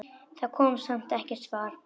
Það kom samt ekkert svar.